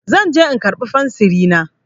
Zan je in karɓa fensiri na.